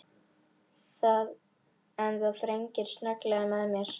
En það þrengir snögglega að mér.